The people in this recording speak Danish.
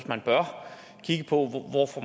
man bør kigge på hvor